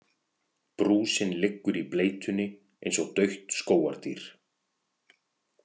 Brúsinn liggur í bleytunni eins og dautt skógardýr.